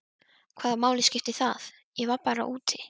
Hvaða máli skiptir það, ég var bara úti.